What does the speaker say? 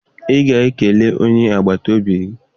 Ị ga-ekele onye agbata obi m!